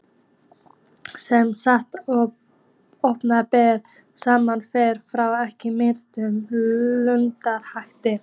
Sem sagt að opinberir starfsmenn þeir fá ekki miklar launahækkanir?